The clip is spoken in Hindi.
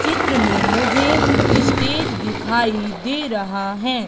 चित्र में मुझे स्टेज दिखाई दे रहा है।